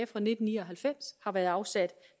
fra nitten ni og halvfems har været afsat